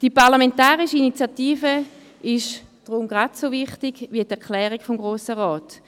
Die parlamentarische Initiative ist deshalb ebenso wichtig wie die Erklärung des Grossen Rates.